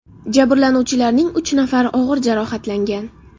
Jabrlanuvchilarning uch nafari og‘ir jarohatlangan.